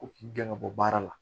Ko k'i gɛn ka bɔ baara la